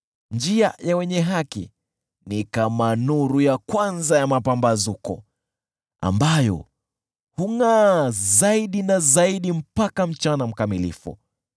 Njia ya wenye haki ni kama nuru ya kwanza ya mapambazuko, ambayo hungʼaa zaidi na zaidi mpaka mchana mkamilifu.